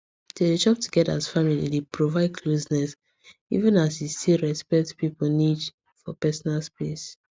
to dey chop together as family dey provide closeness even as e still respect people need for personal space